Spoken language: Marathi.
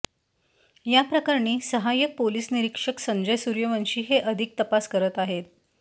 या प्रकरणी सहाय्यक पोलिस निरिक्षक संजय सुर्यवंशी हे अधिक तपास करत आहेत